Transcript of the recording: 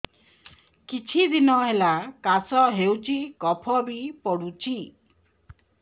କିଛି ଦିନହେଲା କାଶ ହେଉଛି କଫ ବି ପଡୁଛି